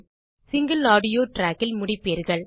single audio trackஇல் முடிப்பீர்கள்